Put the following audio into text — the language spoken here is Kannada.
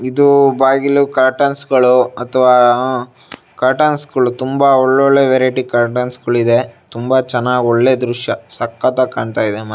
ಇದು ಬಾಗಿಲು ಕಟುರ್ನ್ಸ್ ಗಳು ಅಥವಾ ಅಹ್ ಕಟುರ್ನ್ಸ್ ಗಳು ತುಂಬಾ ಒಳ್ ಒಳ್ಳೆ ವೆರೈಟಿ ಕರ್ಟೈನ್ಸ್ ಗಳು ಕಾಣ್ತಾ ಇದೆ. ತುಂಬಾ ಚೆನ್ನಾಗ್ ಒಳ್ಳೆ ದೃಶ್ಯ ಚೆನ್ನಾಗ್ ಕಾಣ್ಸ್ತ ಇದೆ.